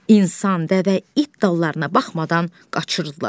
İnsan, dəvə, it dallarına baxmadan qaçırdılar.